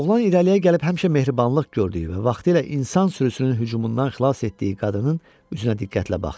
Oğlan irəliyə gəlib həmişə mehribanlıq gördüyü və vaxtilə insan sürüsünün hücumundan xilas etdiyi qadının üzünə diqqətlə baxdı.